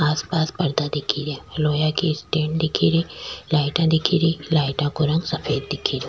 आस पास पर्दा दिखे रिया लोहा की स्टेण्ड दिखे री लाइटा दिखे री लाइटा को रंग सफ़ेद दिखे रो।